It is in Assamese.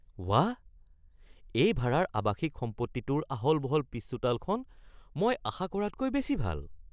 বাহ, এই ভাৰাৰ আৱাসিক সম্পত্তিটোৰ আহল-বহল পিছচোতালখন মই আশা কৰাতকৈ বেছি ভাল!